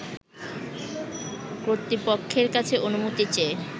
কর্তৃপক্ষের কাছে অনুমতি চেয়ে